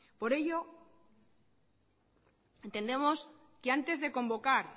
por ello entendemos que antes de convocar